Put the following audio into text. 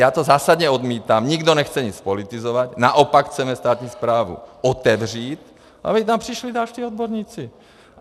Já to zásadně odmítám, nikdo nechce nic politizovat, naopak chceme státní správu otevřít, aby tam přišli další odborníci.